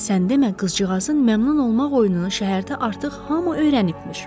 Sən demə qızcığazın məmnun olmaq oyununu şəhərdə artıq hamı öyrənibmiş.